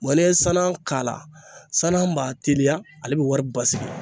n'i ye sanan k'a la sanan b'a teliya ale bi wɔri basigi.